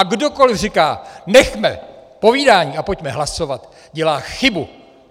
A kdokoliv říká "nechme povídání a pojďme hlasovat", dělá chybu.